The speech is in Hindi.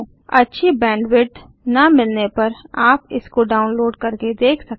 अच्छी बैंडविड्थ न मिलने पर आप इसको डाउनलोड करके देख सकते हैं